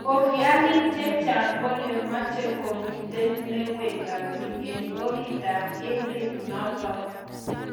Hofiani chechang kole much komitei newendati eng oritit ap emet notok